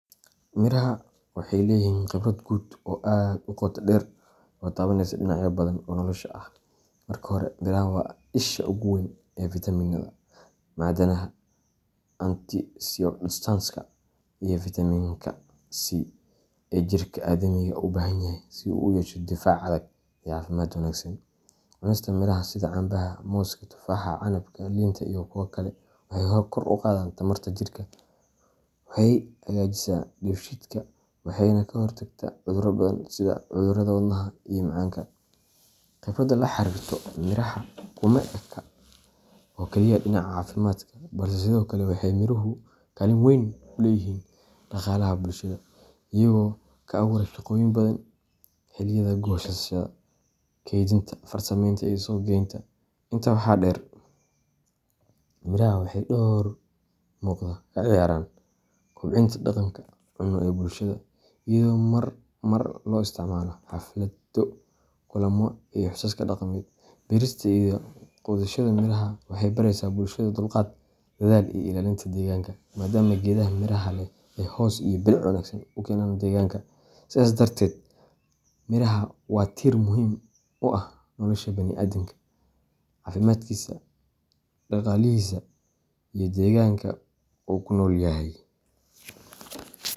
Miraha waxay leeyihiin khibrad quud oo aad u qoto dheer oo taabanaysa dhinacyo badan oo nolosha ah. Marka hore, miraha waa isha ugu weyn ee fitamiinnada, macdanaha, antioxidantska iyo fiitamiinka C ee jirka aadamiga u baahan yahay si uu u yeesho difaac adag iyo caafimaad wanaagsan. Cunista miraha sida cambaha, mooska, tufaaxa, canabka, liinta iyo kuwo kale waxay kor u qaadaa tamarta jirka, waxay hagaajisaa dheefshiidka, waxayna ka hortagtaa cudurro badan sida cudurrada wadnaha iyo macaanka. Khibradda la xiriirta miraha kuma eka oo kaliya dhinaca caafimaadka, balse sidoo kale waxay miruhu kaalin weyn ku leeyihiin dhaqaalaha bulshada, iyagoo ka abuura shaqooyin badan xilliyada goosashada, kaydinta, farsamaynta iyo suuqgeynta. Intaa waxaa dheer, miraha waxay door muuqda ka ciyaaraan kobcinta dhaqanka cunno ee bulshada, iyadoo marmar loo isticmaalo xaflado, kulamo iyo xusaska dhaqameed. Beerista iyo quudashada miraha waxay baraysaa bulshada dulqaad, dadaal iyo ilaalinta deegaanka, maadaama geedaha miraha leh ay hoos iyo bilic wanaagsan u keenaan deegaanka. Sidaas darteed, miraha waa tiir muhiim u ah nolosha baniaadamka, caafimaadkiisa, dhaqaalihiisa iyo deegaanka uu ku nool yahay.